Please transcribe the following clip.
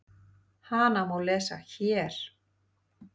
Hana má lesa HÉR.